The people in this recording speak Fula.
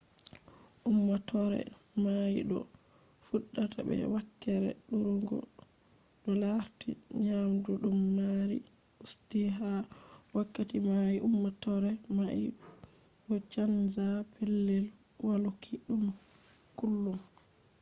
ummatore mai do fudda be wakkere durugo to larti nyamdu dum mari usti. ha wakkati mai ummatore mai do canza pellel waluki dum kullum